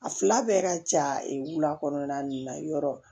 A fila bɛɛ ka ca wula kɔnɔna nunnu na yɔrɔ